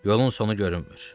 Yolun sonu görünmür.